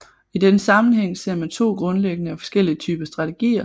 I denne sammenhæng ser man to grundlæggende og forskellige typer strategier